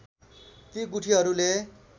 ती गुठीहरूले